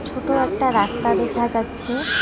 ছোট একটা রাস্তা দেখা যাচ্ছে।